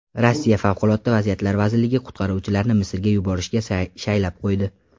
Rossiya Favqulodda vaziyatlar vazirligi qutqaruvchilarni Misrga yuborishga shaylab qo‘ydi.